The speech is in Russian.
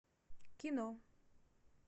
кино